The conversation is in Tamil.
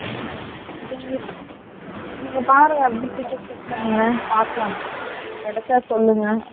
சரி நீங்க பாருங்க , ticket check பன்னுங்க பாகலம் கிடைச்சா சொல்லுங்க நானும் வரென் okay யா